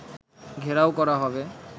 ঘেরাও করা হবে